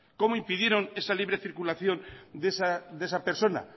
cómo impidieron esa libre circulación de esa persona